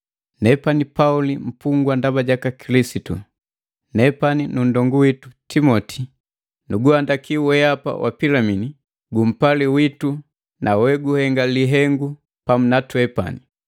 Nepani Pauli mpungwa ndaba jaka Kilisitu, nepani nu nndongu witu Timoti. Nuguhandaki wehapa wa Pilimini gumpali witu na weguhenga lihengu pamu na twepani,